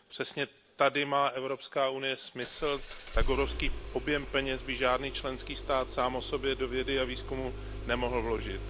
Přesně tady má Evropská unie smysl, tak obrovský objem peněz by žádný členský stát sám o sobě do vědy a výzkumu nemohl vložit.